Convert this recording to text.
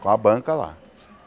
Com a banca lá.